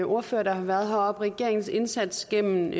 ordførere der har været heroppe regeringens indsats gennem